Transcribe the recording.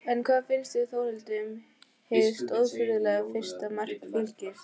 En hvað fannst Þórhildi um hið stórfurðulega fyrsta mark Fylkis?